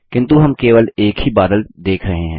किन्तु हम केवल एक ही बादल देख रहे हैं